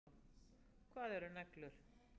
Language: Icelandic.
Hvað eru neglur?